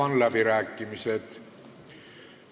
Avan läbirääkimised.